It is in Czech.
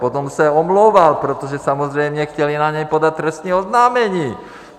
Potom se omlouval, protože samozřejmě chtěli na něj podat trestní oznámení.